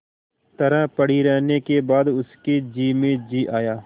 तरह पड़ी रहने के बाद उसके जी में जी आया